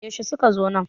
yaushe suka zo nan?